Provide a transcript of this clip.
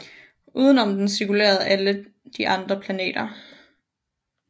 Uden om den cirkulerede alle de andre planeter